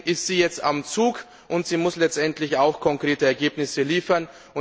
Deswegen ist sie jetzt am Zug und muss letztendlich auch konkrete Ergebnisse liefern.